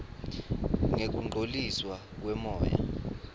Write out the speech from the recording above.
ngekungcoliswa kwemoya